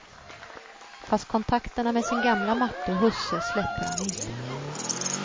Fast kontakterna med sin gamla matte och husse släpper han inte.